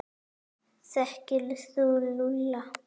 Þekkir þú Lúlla?